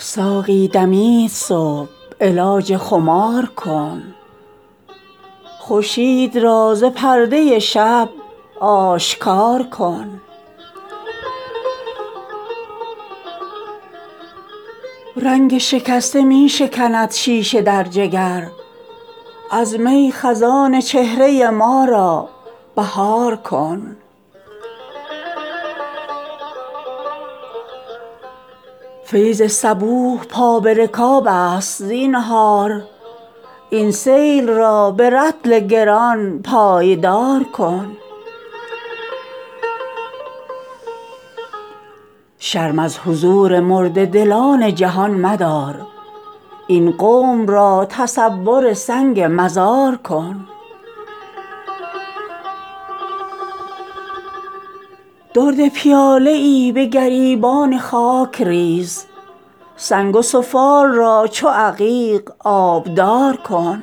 ساقی دمید صبح علاج خمار کن خورشید را ز پرده شب آشکار کن رنگ شکسته می شکند شیشه در جگر از می خزان چهره ما را بهار کن فیض صبوح پا به رکاب است زینهار این سیل را به رطل گران پایدار کن شرم از حضور مرده دلان جهان مدار این قوم را تصور سنگ مزار کن گوهر اگر چه لنگر دریا نمی شود پیمانه ای به کار من بی قرار کن درد پیاله ای به گریبان خاک ریز سنگ و سفال را چو عتیق آبدار کن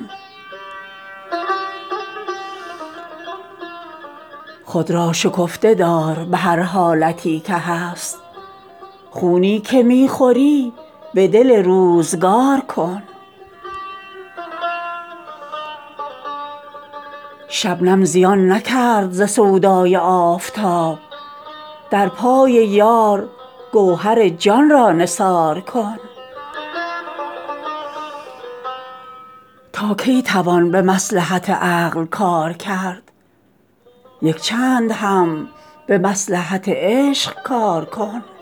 خود را شکفته دار به هر حالتی که هست خونی که می خوری به دل روزگار کن مپسند شمع دولت بیدار را خموش خاک سیه به کاسه خواب خمار کن هر چند زخم می چکد از تیغ روزگار این درد را دوا به می خوشگوار کن شبنم زیان نکرد ز سودای آفتاب در پای یار گوهر جان را نثار کن تا از میان کار توانی خبر گرفت چون موج ازین محیط تلاش کنار کن دست گهر فشان به ثمر زود می رسد چون شاخ پر شکوفه زر خود نثار کن دندان خامشی به جگر چون صدف گذار دامان خود پر از گهر شاهوار کن غافل مشو ز پرده نیرنگ روزگار سیر خزان در آینه نوبهار کن تا کی توان به مصلحت عقل کار کرد یک چند هم به مصلحت عشق کار کن حسن ازل به قدر صفا جلوه می کند تا ممکن است آینه را بی غبار کن مغز از نسیم سوختگی تازه می شود صایب شبی به روز درین لاله زار کن